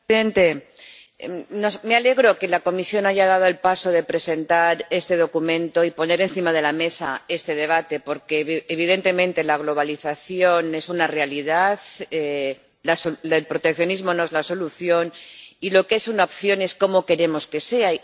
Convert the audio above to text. Señor presidente, me alegro de que la Comisión haya dado el paso de presentar este documento y poner encima de la mesa este debate, porque evidentemente la globalización es una realidad, el proteccionismo no es la solución y lo que es una opción es cómo queremos que sea.